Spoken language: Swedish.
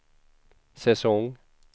säsong